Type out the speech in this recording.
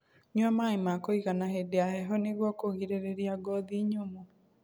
Nyua maĩ ma kuigana hĩndĩ ya heho nĩguo kũgirĩrĩrĩa ngothi nyumu